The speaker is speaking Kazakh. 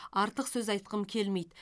артық сөз айтқым келмейді